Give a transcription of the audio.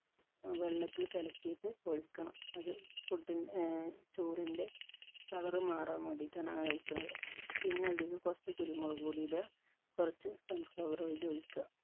ഏർ വെള്ളത്തിൽ കലക്കീട്ട് ഒഴിക്കണം അത് food ൻ ഏർ ചോറിൻറെ colour മാറാൻ വേണ്ടീട്ടാണ് അങ്ങനെ ഒഴിക്കണത്. പിന്നെ അതിൽ കുറച് കുരുമുളക് പൊടി ഇട കുറച്ചു sunflower oil ഉ ഒഴിക്ക.